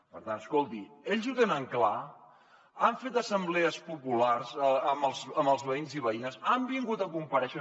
per tant escolti ells ho tenen clar han fet assemblees populars amb els veïns i veïnes han vingut a comparèixer